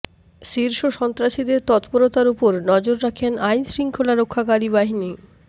শীর্ষ সন্ত্রাসীদের তৎপরতার ওপর নজর রাখেন আইনশৃঙ্খলা রক্ষাকারী বাহিনীর